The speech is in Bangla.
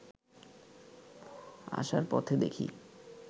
আসার পথে দেখি